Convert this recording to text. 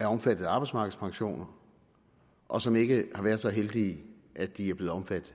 er omfattet af arbejdsmarkedspensioner og som ikke har været så heldige at de er blevet omfattet